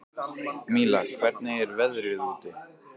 Míla, hvernig er veðrið úti?